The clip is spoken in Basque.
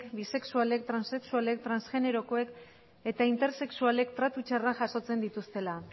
bisexualek transexualek transgenerokoek eta intersexualek tratu txarrak jasotzen dituztela